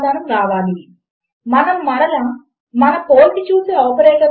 నేను username is equal to Alex మరియు నా password is equal to ABC అని అంటాను